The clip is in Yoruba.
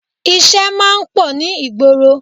Ìṣe máa ń pọ̀ ní ìgboro